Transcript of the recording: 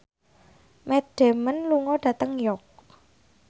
Matt Damon lunga dhateng York